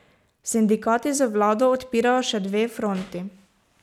Sindikati z vlado odpirajo še dve fronti.